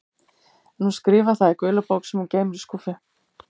En hún skrifar það í gula bók sem hún geymir í skúffu.